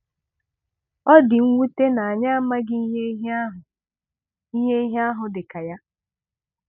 Ọ dị mwute na anyị amaghị ihe ihe ahụ ihe ihe ahụ dị ka ya.